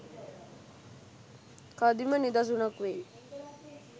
කදිම නිදසුනක් වෙයි